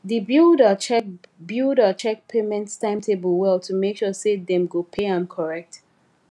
the builder check builder check payment timetable well to make sure say dem go pay am correct